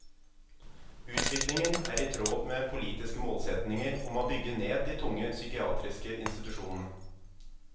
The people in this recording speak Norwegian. Utviklingen er i tråd med politiske målsetninger om å bygge ned de tunge psykiatriske institusjonene.